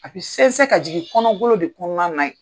A bɛ sɛn sɛn ka jigin kɔnɔgolo de kɔnɔna na ye.